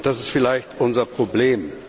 Das ist vielleicht unser Problem.